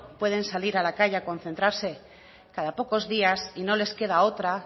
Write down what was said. puede salir a la calle a concentrarse cada pocos días y no les queda otra